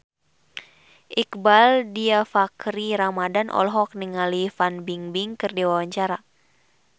Iqbaal Dhiafakhri Ramadhan olohok ningali Fan Bingbing keur diwawancara